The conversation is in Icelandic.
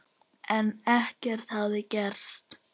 En ekkert hafði gerst.